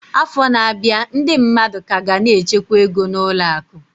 Afọ na-abịa, ndị mmadụ ka ga na-echekwa ego na ụlọ akụ.